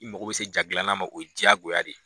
I mago be se ja gilanna ma o ye jagoya de ye.